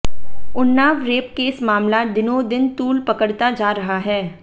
Unnao rape case मामला दिनोंदिन तूल पकड़ता जा रहा है